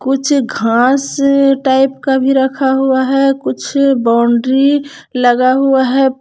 कुछ घास टाइप का भी रखा हुआ है कुछ बाउंड्री लगा हुआ है।